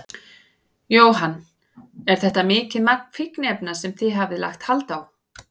Jóhann: Er þetta mikið magn fíkniefna sem þið hafið lagt hald á?